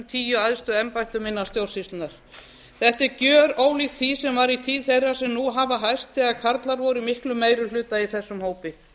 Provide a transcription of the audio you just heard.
tíu æðstu embættum innan stjórnsýslunnar þetta er gjörólíkt því sem var í tíð þeirra sem nú hafa hæst þegar karlar voru í miklum meiri hluta í þessum hópi